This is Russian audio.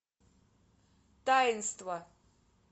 таинство